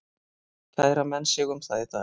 Kæra menn sig um það í dag?